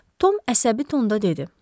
Tom əsəbi tonda dedi: